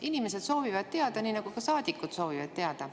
Inimesed soovivad teada, nii nagu ka saadikud soovivad teada.